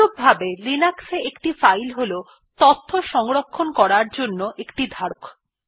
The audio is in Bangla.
অনুরূপভাবে লিনাক্স এ একটি ফাইল হল তথ্য সংরক্ষণ করার জন্য একটি ধারক